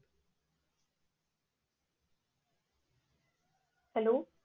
hello